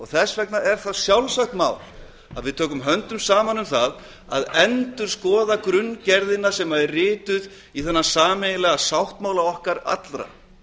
þess vegna er það sjálfsagt mál að við tökum höndum saman um það að endurskoða grunngerðina sem er rituð í þennan sameiginlega sáttmála okkar allra